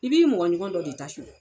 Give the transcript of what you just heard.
I b'i mɔgɔ ɲɔgɔn dɔ de ta sonyan.